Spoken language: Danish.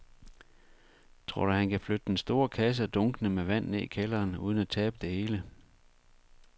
Tror du, at han kan flytte den store kasse og dunkene med vand ned i kælderen uden at tabe det hele?